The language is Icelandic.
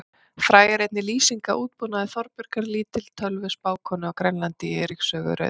Fræg er einnig lýsing af útbúnaði Þorbjargar lítilvölvu spákonu á Grænlandi í Eiríks sögu rauða.